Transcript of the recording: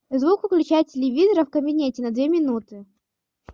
звук выключай телевизора в кабинете на две минуты